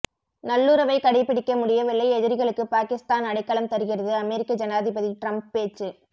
நல்லுறவை கடைபிடிக்க முடியவில்லை எதிரிகளுக்கு பாகிஸ்தான் அடைக்கலம் தருகிறது அமெரிக்க ஜனாதிபதி டிரம்ப் பேச்சு